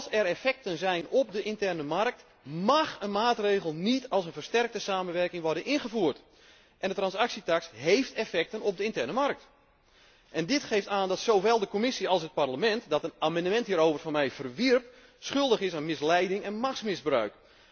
Als er effecten zijn op de interne markt, mág een maatregel níet in het kader van een nauwere samenwerking worden ingevoerd. En de transactietaks hééft effecten op de interne markt. Dit geeft aan dat zowel de Commissie als het Parlement, dat een amendement hierover van mij verwierp, schuldig is aan misleiding en machtsmisbruik.